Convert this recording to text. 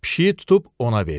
Pişiyi tutub ona verdi.